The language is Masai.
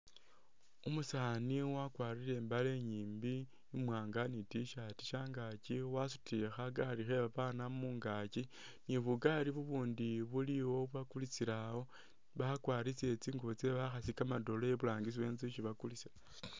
Umusaani wakwarile i'mbale inyiimbi imwanga ni t-shirt shangakyi wasutile khagali khebabana mungakyi ni bugali bubundi bulyawo bakulisilawo bakwarisile tsingubo tse bakhasi kamadole iburangisi wenzu isi bakulisila